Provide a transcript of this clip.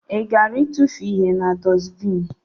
I gara itufu ihe na dusbini?